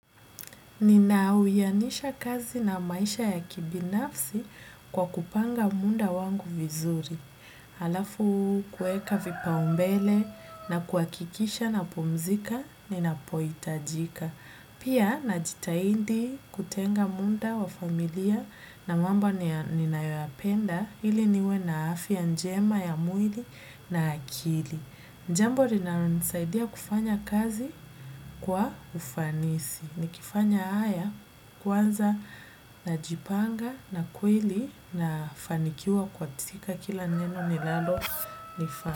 Nina wianisha kazi na maisha ya kibinafsi kwa kupanga muda wangu vizuri. Alafu kuweka vipaumbele na kuhakikisha napumzika ninapohitajika pia najitahidi kutenga muda wa familia na mambo ninayoyapenda ili niwe na afya njema ya mwili na akili. Jambo linalonisaidia kufanya kazi kwa ufanisi. Nikifanya haya kwanza najipanga na kweli nafanikiwa katika kila neno nilalo nifaa.